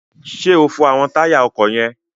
Ṣé o fọ àwọn táyà ọkọ̀ yẹn?